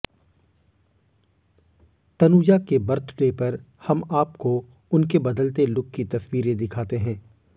तनुजा के बर्थडे पर हम आपको उनके बदलते लुक की तस्वीरें दिखाते हैं